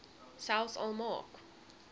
selfs al maak